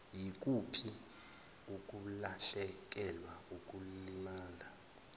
yikuphi ukulahlekelwa ukulimala